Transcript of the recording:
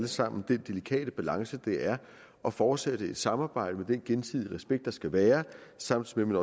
sammen den delikate balance det er at fortsætte et samarbejde med den gensidige respekt der skal være samtidig med